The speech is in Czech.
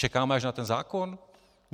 Čekáme až na ten zákon?